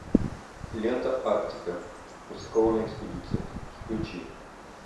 лента арктика рискованная экспедиция включи